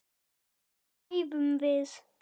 Hvenær æfum við?